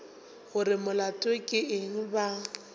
gore molato ke eng ba